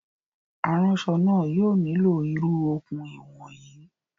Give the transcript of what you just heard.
Aránsọ náà yóò nílò irú okùn ìwọ̀n yìí